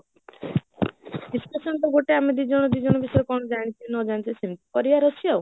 କିଚି ତ ସେମତି ଗୋଟେ ଆମେ ଦିଜନ ଦିଜନ ବିଷୟରେ କଣ ଜନୀଛେ ନ ଜନିଛେ ସେମିତି କରିବାର ଅଛି ଆଉ